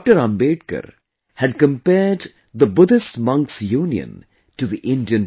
Ambedkar had compared the Buddhist monks union to the Indian Parliament